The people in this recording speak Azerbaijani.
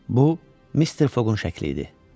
Bu Mister Foqun şəkli idi.